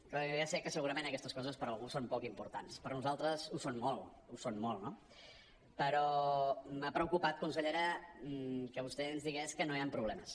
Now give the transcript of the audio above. com que ja sé que segurament aquestes coses per a algú són poc importants però per a nosaltres ho són molt ho són molt no però m’ha preocupat consellera que vostè ens digués que no hi han problemes